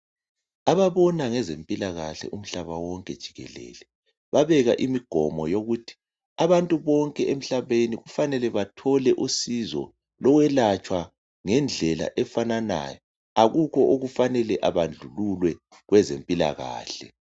Ababona ngezempilakahle umhlaba wonke jikelele babeka umgomo wokuthi abantu bonke emhlabeni kufanele bethole usizo lokuyelatshwa ngendlela efananayo akula okumele ebandlululwe kwezempilakahle